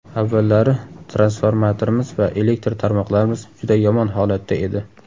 Avvallari transformatorimiz va elektr tarmoqlarimiz juda yomon holatda edi.